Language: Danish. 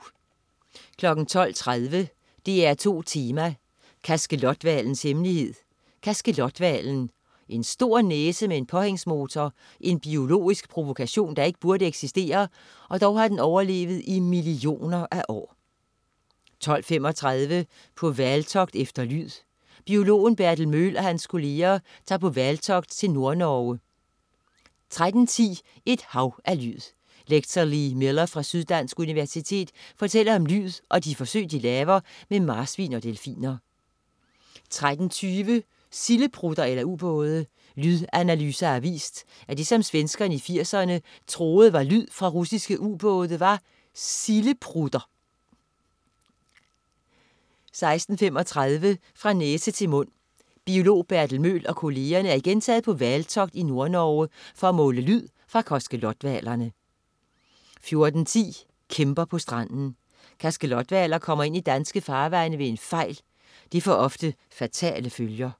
12.30 DR2 Tema: Kaskelothvalens hemmelighed. Kaskelothvalen. En stor næse med en påhængsmotor, en biologisk provokation, der ikke burde eksistere, og dog har den overlevet i millioner af år 12.35 På hvaltogt efter lyd. Biologen Bertel Møhl og hans kolleger tager på hvaltogt til Nordnorge 13.10 Et hav af lyd. Lektor Lee Miller fra Syddansk Universitet fortæller om lyd og de forsøg, de laver med marsvin og delfiner 13.20 Sildeprutter eller ubåde. Lydanalyser har vist, at det, som svenskerne i 80'erne troede var lyd fra russiske ubåde, var sildeprutter 13.35 Fra næse til mund. Biolog Bertel Møhl og kollegerne er igen taget på hvaltogt i Nordnorge for at måle lyd fra kaskelothvalerne 14.10 Kæmper på stranden. Kaskelothvaler kommer ind i danske farvande ved en fejl. Det får ofte fatale følger